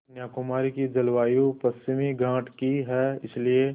कन्याकुमारी की जलवायु पश्चिमी घाट की है इसलिए